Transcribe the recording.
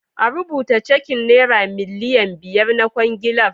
A rubuta cekin nera miliyan biyar na kwangilar.